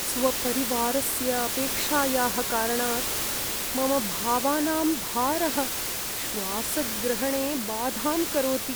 स्वपरिवारस्य अपेक्षायाः कारणात् मम भावानां भारः श्वासग्रहणे बाधां करोति।